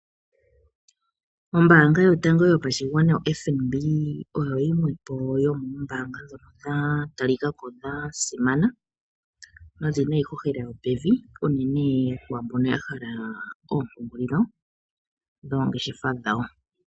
Ombaanga yotango yopashigwana FNB oyo yimwe po yomoombaanga ndhoka dha talilako dha simana nodhina iihohela yopevi uunene kwambono ya hala ompungulilo dhoongeshefa dhawo.